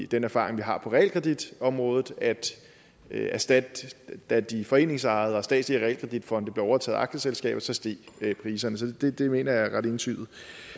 den erfaring vi har på realkreditområdet da da de foreningsejede og statslige realkreditfonde blev overtaget af aktieselskaber så steg priserne så det mener jeg er ret entydigt